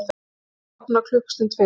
Húsið opnar klukkustund fyrr